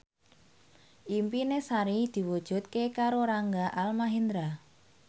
impine Sari diwujudke karo Rangga Almahendra